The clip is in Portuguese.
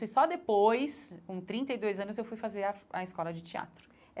E só depois, com trinta e dois anos, eu fui fazer a a escola de teatro.